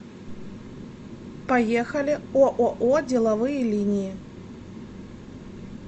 поехали ооо деловые линии